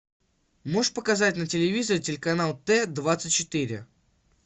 можешь показать на телевизоре телеканал т двадцать четыре